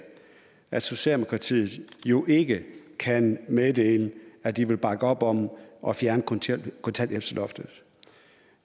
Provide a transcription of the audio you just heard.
at socialdemokratiet jo ikke kan meddele at de vil bakke op om at fjerne kontanthjælpsloftet